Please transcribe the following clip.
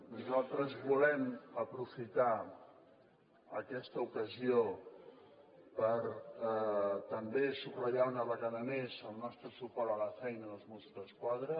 nosaltres volem aprofitar aquesta ocasió per també subratllar una vegada més el nostre suport a la feina dels mossos d’esquadra